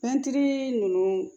ninnu